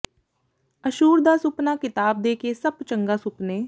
ਅੱਸ਼ੂਰ ਦਾ ਸੁਪਨਾ ਕਿਤਾਬ ਦੇ ਕੇ ਸੱਪ ਚੰਗਾ ਸੁਪਨੇ